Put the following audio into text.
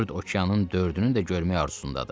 dörd okeanın dördünü də görməyə arzusundadır.